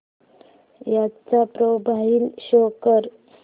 चा profile show कर